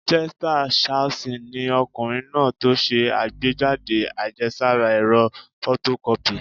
Chester Carlson ni ọkùnrin náà tó ṣe àgbéjáde àjẹsára ẹ̀rọ fotokọ́pì